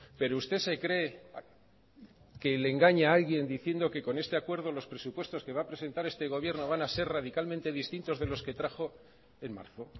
pero usted se cree que le engaña a alguien diciendo que con este acuerdo los presupuestos que va a presentar este gobierno van a ser radicalmente distintos de los que trajo en marzo